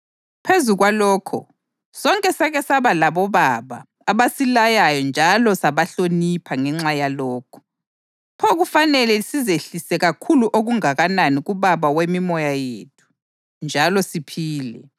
Phezu kwalokho, sonke sake saba labobaba abasilayayo njalo sabahlonipha ngenxa yalokho. Pho kufanele sizehlise kakhulu okungakanani kuBaba wemimoya yethu njalo siphile!